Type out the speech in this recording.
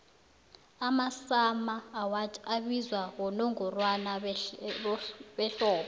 amasummer awards abizwa bonongorwana behlobo